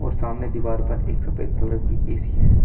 सामने दीवार पर एक सफेद कलर की ए_सी है।